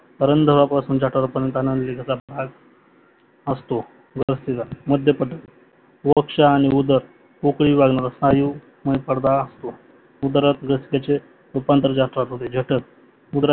उधरापासून जठरापर्यन्त अन्ननालिकेचा भाग असतो. ग्रसिका माध्यप्रदेश ओक्ष आणि उधड कोंकानिविभागमध्ये स्नायूमध्ये परदा असतो उद्धाररस्त्याचे रूपांतर जटरात होते जठर